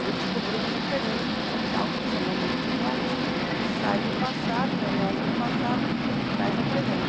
Ele descobriu um mecanismo mental que ele chamou mente reativa, que sai do passado, remete no passado e traz ao presente.